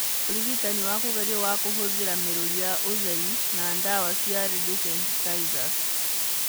Ũrigitani wa kũgerio wa kũhũthĩra mĩrũri ya ũtheri na ndawa cia radiosensitizers.